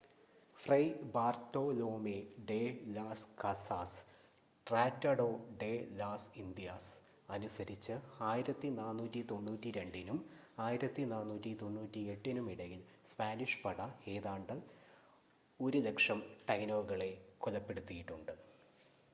fry Bartolome de las Casas Tratado de las Indias അനുസരിച്ച് 1492-നും 1498-നും ഇടയിൽ സ്പാനിഷ് പട ഏതാണ്ട് 100,000 ടൈനോകളെ കൊലപ്പെടുത്തിയിട്ടുണ്ട്